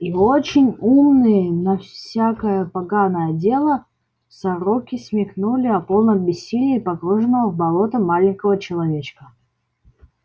и очень умные на всякое поганое дело сороки смекнули о полном бессилии погруженного в болото маленького человечка